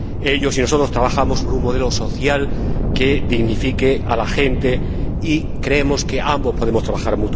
Ellos y nosotros trabajamos por un modelo social que dignifique a la gente, y creemos que ambos podemos colaborar.